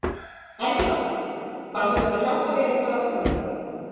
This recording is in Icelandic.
Erla: Fannst þér þetta hjálpa þér eitthvað að koma hingað?